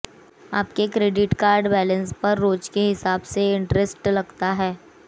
आपके credit card balance पर रोज के हिसाब से इंट्रेस्ट लगता है